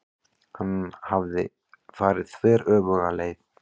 Hann hafði farið þveröfuga leið.